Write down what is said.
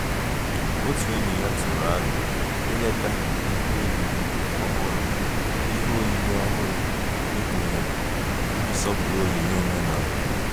Otu enyi ya tụrụ aro ileta ihe oyiyi ọhụrụ ihe oyiyi ọhụrụ ekpughere iji sọpụrụ onyinye omenala